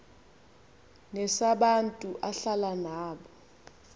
nesabantu ahlala nabo